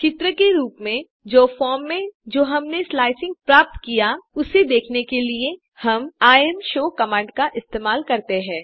चित्र के रूप में जो फॉर्म में जो हमने स्लाईस प्राप्त किया उसे देखने के लिए हम इमशो कमांड इस्तेमाल करते हैं